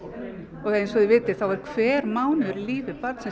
og eins og þið vitið þá hver mánuður í lífi barnsins